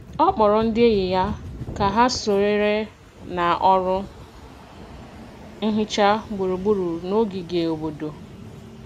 Ọ kpọrọ ndị enyi ya ka ha sonyere na ọrụ nhicha gburugburu n’ogige obodo.